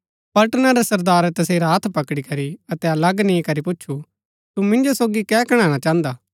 पलटना रै सरदारै तसेरा हत्थ पकड़ी करी अतै अलग नि करी पुछु तु मिन्जो सोगी कै कणैणा चाहन्दा